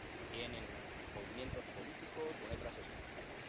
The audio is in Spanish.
bien en movimientos políticos o en otras estructuras.